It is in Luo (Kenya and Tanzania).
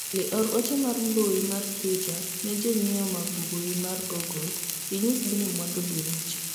Olly or ote mar mbui mar twita ne jonyiewo mag mbui mar google inyisgi ni mwandu gi richo